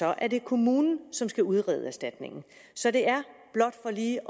er det kommunen som skal udrede erstatningen så blot for lige